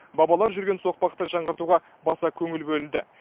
бабалар жүрген соқпақты жаңғыртуға баса көңіл бөлінді